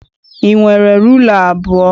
I nwere rula abụọ?